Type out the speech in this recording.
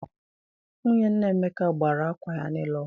Nwunye nna Emeka gbara akwa ya niile ọkụ.